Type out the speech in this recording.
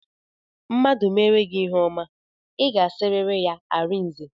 Mmadụ meere gị ihe ọma, I ga-asịrịrị ya arinze